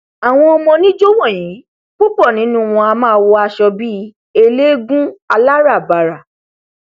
àwọn ọmọ oníjó wọnyí púpọ nínú wọn a máa wọ aṣọ bí eléégún aláràbarà